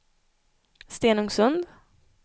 Stenungsund